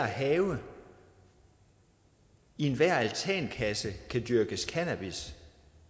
have i enhver altankasse kan dyrkes cannabis